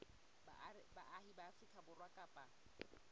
baahi ba afrika borwa kapa